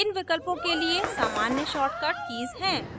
इन विकल्पों के लिए सामान्य shortcut कीज़ हैं